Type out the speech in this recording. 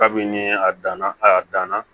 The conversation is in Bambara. Kabini a danna a danna